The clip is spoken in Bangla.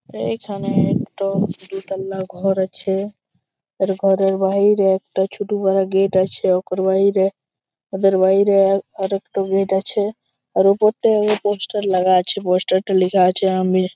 এইখানে একটা দুতালা ঘর আছে আর ঘরের বাইরে একটা ছোটো করে গেট আছে অকুর বাইরে ওদের বাইরে আ আরেক টা গেট আছে আর ওপর টাই পোস্টার লাগা আছে পোস্টার টায় লেখা আছে আমির।